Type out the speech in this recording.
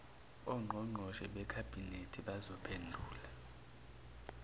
ongqongqoshe bekhabhinethi bazophendula